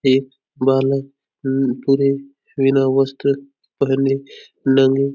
एक बालक उम्म पुरे बिना वस्त्र पहने नंगे --